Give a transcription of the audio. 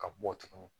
Ka bɔ tuguni